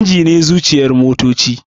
Inji ne zuciyar motoci